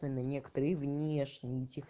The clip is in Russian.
но некоторые внешние